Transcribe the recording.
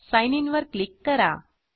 sign in वर click करा